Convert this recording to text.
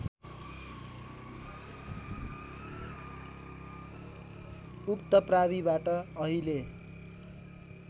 उक्त प्राविबाट अहिले